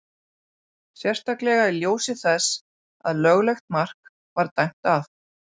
Sérstaklega í ljósi þess að löglegt mark var dæmt af.